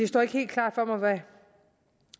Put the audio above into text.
står helt klart for mig